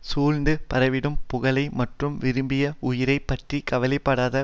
சூழ்ந்து பரவிடும் புகழை மட்டுமே விரும்பி உயிரை பற்றி கவலைப்படாத